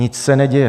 Nic se neděje.